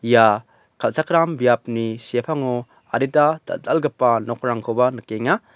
ia kal·chakram biapni sepango adita dal·dalgipa nokrangkoba nikenga.